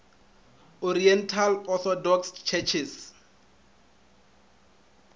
oriental orthodox churches